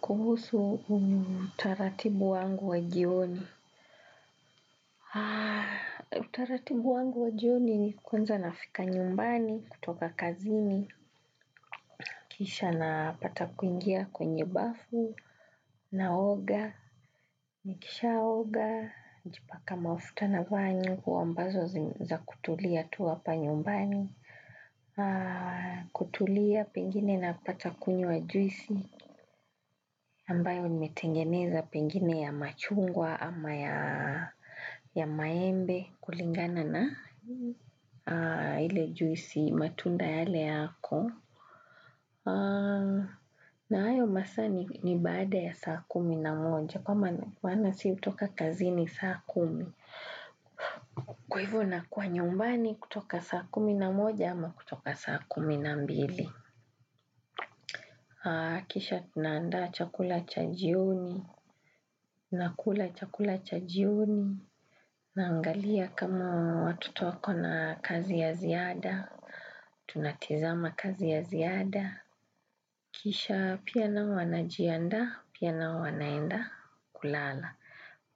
Kuhusu utaratibu wangu wa jioni utaratibu wangu wa jioni ni kwanza nafika nyumbani kutoka kazini kisha napata kuingia kwenye bafu na oga, nikisha oga najipaka mafuta nava nguo ambazo za kutulia tu hapa nyumbani kutulia pengine napata kunywa juisi ambayo nimetengeneza pengine ya machungwa ama ya maembe kulingana na, ile juisi, matunda yale yako. Na hayo masaa ni baada ya saa kumi na moja kwa maana sisi hutoka kazi ni saa kumi. Kwa hivo nakua nyumbani kutoka saa kumi na moja ama kutoka saa kumi na mbili. Kisha tunaanda chakula cha jioni, nakula chakula cha jioni, naangalia kama watoto wako na kazi ya ziada, tunatizama kazi ya ziada. Kisha pia nao wanajianda pia nao wanaenda kulala.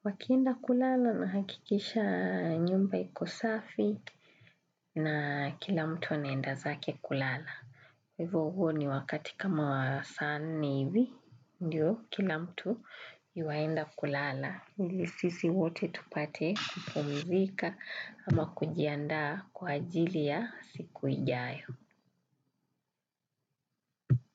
Wakienda kulala nahakikisha nyumba iko safi na kila mtu anaenda zake kulala. Hivo huo ni wakati kama wa saa nne hivi, ndio kila mtu yuwaenda kulala. Ili sisi wote tupate kupumizika ama kujianda kwa ajili ya siku ijayo.